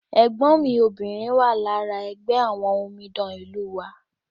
ẹ̀gbọ́n mi obìnrin wà lára ẹgbẹ́ àwọn omidan ìlú wa